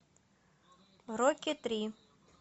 рокки три